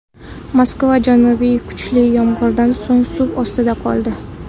Moskva janubi kuchli yomg‘irdan so‘ng suv ostida qoldi .